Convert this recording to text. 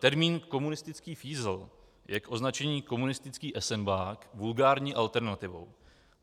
Termín "komunistický fízl" je k označení "komunistický esenbák" vulgární alternativou.